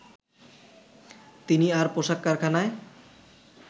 তিনি আর পোশাক কারখানায়